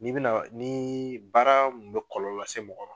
N'i bɛna, ni baara mun bɛ kɔlɔlɔ lase mɔgɔ ma